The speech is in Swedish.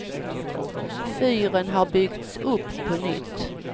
Fyren har byggts upp på nytt.